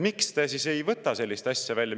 Miks te ei võta sellist asja välja?